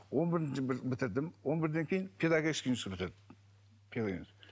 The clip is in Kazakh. он бірінші бітірдім он бірден кейін педагогический институтты бітірдім